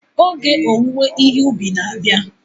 Oge owuwe ihe ubi na-abịa.